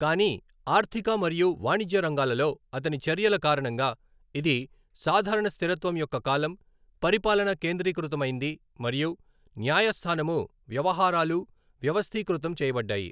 కానీ ఆర్థిక మరియు వాణిజ్య రంగాలలో అతని చర్యల కారణంగా, ఇది సాధారణ స్థిరత్వం యొక్క కాలం, పరిపాలన కేంద్రీకృతమైంది మరియు న్యాయస్థానము వ్యవహారాలు వ్యవస్థీకృతం చేయబడ్డాయి.